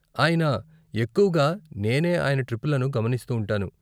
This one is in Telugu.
అయినా , ఎక్కువుగా నేనే ఆయన ట్రిప్పులను గమనిస్తూ ఉంటాను..